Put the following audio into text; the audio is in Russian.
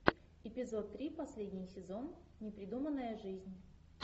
эпизод три последний сезон непридуманная жизнь